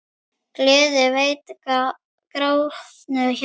Gleði veitir grátnu hjarta.